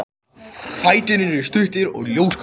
Fæturnir eru stuttir og ljósgulir.